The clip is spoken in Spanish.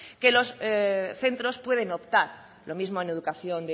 que los centros pueden optar lo mismo en educación